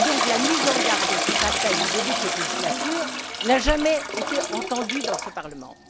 La mise en garde du début de cette législature n'a jamais été entendue dans ce Parlement.